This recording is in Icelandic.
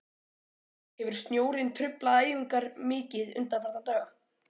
Hefur snjórinn truflað æfingar mikið undanfarna daga?